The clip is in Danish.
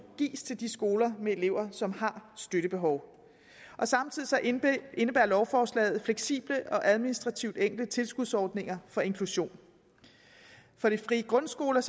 gives til skoler med elever som har støttebehov samtidig indebærer lovforslaget fleksible og administrativt enkle tilskudsordninger for inklusion for de frie grundskoler